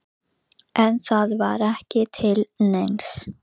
Við setjum stjórnarráðið í forsæluna af neðstu grein.